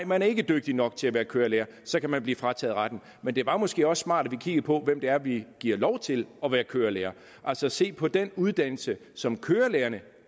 man ikke er dygtig nok til at være kørelærer så kan man blive frataget retten men det var måske også smart at vi kiggede på hvem det er vi giver lov til at være kørelærer altså ser på den uddannelse som kørelærerne